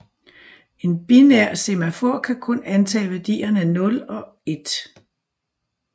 En binær semafor kan kun antage værdierne 0 og 1